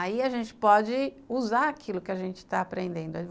aí a gente pode usar aquilo que a gente está aprendendo.